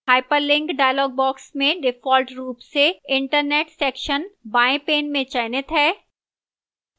hyperlink dialog box में default रूप से internet section बाएं pane में चयनित है